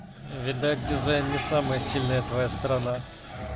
видать дизайн не самая сильная твоя сторона